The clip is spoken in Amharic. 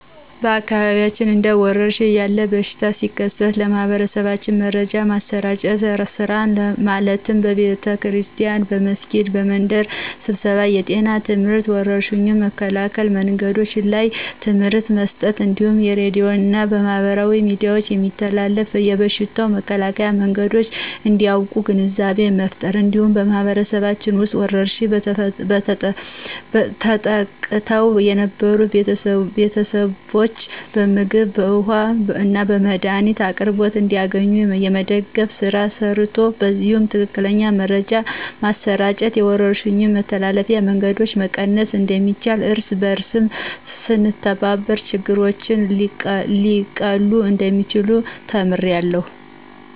በአካባቢያችን እንደ ወረርሽን ያለ በሽታ ሲከሰት ለማህበረሰባችን መረጃ የማሰራጨት ስራ ማለትም በቤተክርስቲያን፣ በመስጊድ፣ በመንደር ስብሰባ የጤና ትምህርትና የወረርሽኙን መከላከያ መንገዶች ላይ ትምህርት መስጠት እንዲሁም በሬድዮ እና በማህበራዊ ሚዲያዎች የሚተላለፉ የበሽታው መከላከያ መንገዶች እንዲያቁ ግንዛቤ መፍጠር። እንዲሁም በማህበረሰባችን ውስጥ በወረርሽኝ ተጠቅተው የነበሩትን ቤተሰቦች በምግብ፣ በውሀ እና የመድኃኒት አቅርቦት እንዲያገኙ የመደገፍ ስራ ተሰርቷል። በዚህም ትክክለኛ መረጃ በማሰራጨት የወረርሽኙን የመተላለፍ መንገድ መቀነስ እንደሚቻልና እርስ በእርስ ስንተባበር ችግሮች ሊቀሉ እንደሚችሉ ተምሬያለሁ።